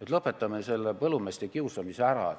et lõpetame selle põllumeeste kiusamise ära?